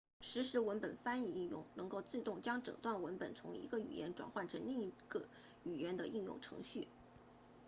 实时文本翻译应用能够自动将整段文本从一种语言转换成另一种语言的应用程序